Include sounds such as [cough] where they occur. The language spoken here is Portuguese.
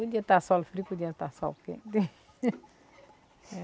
Podia estar sol, frio, podia estar sol quente. [laughs]